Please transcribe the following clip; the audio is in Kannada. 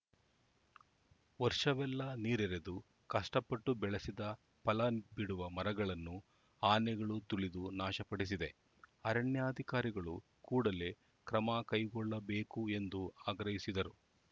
ವರ್ಷವೆಲ್ಲಾ ನೀರೆರೆದು ಕಷ್ಟಪಟ್ಟು ಬೆಳೆಸಿದ ಫಲ ಬಿಡುವ ಮರಗಳನ್ನು ಆನೆಗಳು ತುಳಿದು ನಾಶಪಡಿಸಿದೆ ಆರಣ್ಯಾಧಿಕಾರಿಗಳು ಕೂಡಲೇ ಕ್ರಮ ಕೈಗೊಳ್ಳಬೇಕು ಎಂದು ಆಗ್ರಹಿಸಿದರು